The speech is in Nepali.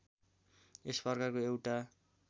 यस प्रकारको एउटा